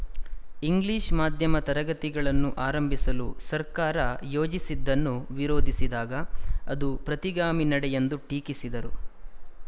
English ಮಾಧ್ಯಮ ತರಗತಿಗಳನ್ನು ಆರಂಭಿಸಲು ಸರ್ಕಾರ ಯೋಜಿಸಿದ್ದನ್ನು ವಿರೋಧಿಸಿದಾಗ ಅದು ಪ್ರತಿಗಾಮಿ ನಡೆಯೆಂದು ಟೀಕಿಸಿದರು